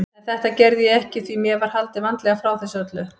En þetta gerði ég ekki því mér var haldið vandlega frá þessu öllu.